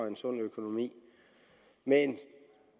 en sund økonomi men